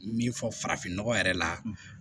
Min fɔ farafin nɔgɔ yɛrɛ la